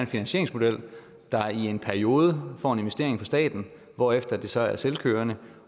finansieringsmodel der i en periode får en investering fra staten hvorefter det så er selvkørende